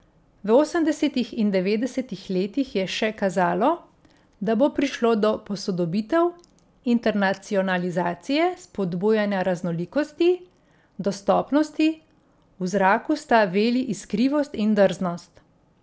V osemdesetih in devetdesetih letih je še kazalo, da bo prišlo do posodobitev, internacionalizacije, spodbujanja raznolikosti, dostopnosti, v zraku sta veli iskrivost in drznost.